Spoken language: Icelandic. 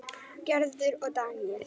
Gerður og Daníel.